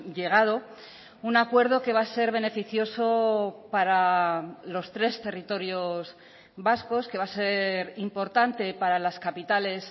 llegado un acuerdo que va a ser beneficioso para los tres territorios vascos que va a ser importante para las capitales